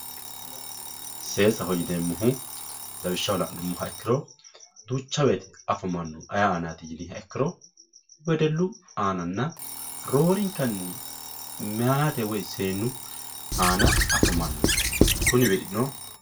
Seesaho yineemmohu lawishshaho la'nuummoha ikkiro duucha woyte afamanohu ayee aanati yiniha ikkiro wedellu aananna roorenkanni mayaate woyi seennu aana afamano kunino.